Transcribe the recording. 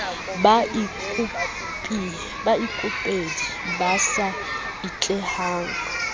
sa baikopedi ba sa atlehang